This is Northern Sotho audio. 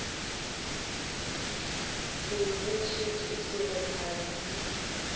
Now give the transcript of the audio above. se bontšhitše go se thabele